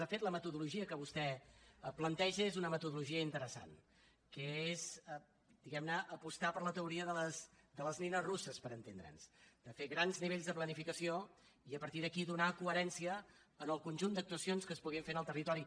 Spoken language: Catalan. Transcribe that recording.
de fet la metodologia que vostè plateja és una metodologia interessant que és diguem ne apostar per la teoria de les nines russes per entendre’ns de fer grans nivells de planificació i a partir d’aquí donar coherència al conjunt d’actuacions que es podrien fer en el territori